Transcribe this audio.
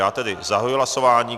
Já tedy zahajuji hlasování.